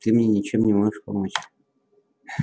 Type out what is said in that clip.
ты мне ничем не можешь помочь